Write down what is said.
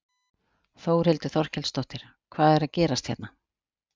Þórhildur Þorkelsdóttir: Hvað er að gerast hérna?